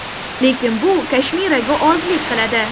Lekin bu Kashmiraga ozlik qiladi.